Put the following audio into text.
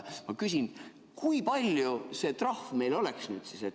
Ma küsin, et kui suur see trahv meil oleks.